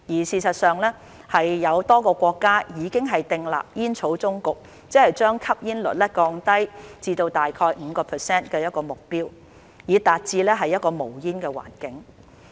事實上，有多個國家已經訂立將吸煙率降至 5% 的目標以達至無煙環境。